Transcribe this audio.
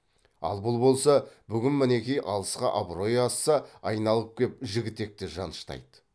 ал бұл болса бүгін мінеки алысқа абыройы асса айналып кеп жігітекті жаныштайды